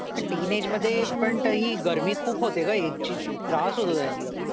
हा टिन इज मध्ये पण गर्मी खूप होते ग पण इग्जची त्रास होतो त्याने